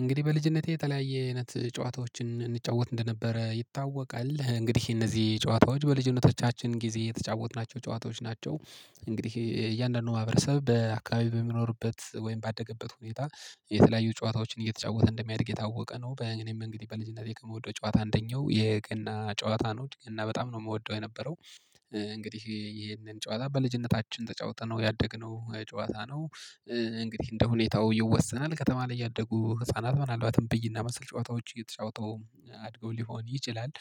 እንግዲህ በልጅነቴ የተለያየ አይነት ጨዋታዎችን እንጫወት እንደነበረ ይታወቃል። እንግዲህ እነዚህ ጨዋታዎች በልጅነቶቻችን ጊዜ የተጫወትናቸው ጨዋታዎች ናቸው። እንግዲህ እያንዳንዱ ማህበረሰብ በአካባቢ በሚኖርበት ወይም ባደገበት ሁኔታ የተለያዩ ጨዋታዎችን እየተጫወተ እንደሚያድግ የታወቀ ነው። በ እኔም እንግዲህ በልጅነቴ ከምወደው ጨዋታ አንደኛው የገና ጨዋታ ነው። እና በጣም ነው የምወደው የነበረው እንግዲህ ይሄንን ጨዋታ በልጅነታችን ተጫውተነው ያደግነው ጨዋታ ነው። እንግዲህ እንደ ሁኔታው ይወሰናል ከተማ ላይ ያደጉ ህፃናት ምናልባትም ብይና መሰል ጨዋታዎች እየተጫወቱ አድገው ሊሆን ይችላል።